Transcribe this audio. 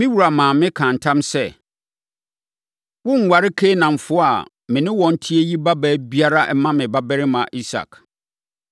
Me wura maa mekaa ntam sɛ, ‘Worenware Kanaanfoɔ a me ne wɔn te yi babaa biara mma me babarima Isak.